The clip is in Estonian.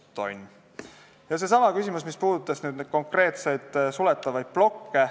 Siis küsiti selle kohta, mis puudutab konkreetseid suletavaid plokke.